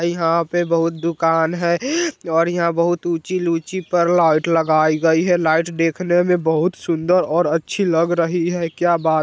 यहाँ पे बहुत दुकान है और यहाँ बहुत ऊंची लूची-ऊँची पर लाइट लगाई गई है लाइट देखने मे बहुत सुंदर और अच्छी लग रही है क्या बात --